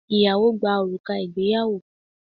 Ìyàwó gba òrùka ìgbéyàwó